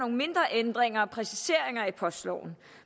mindre ændringer og præciseringer i postloven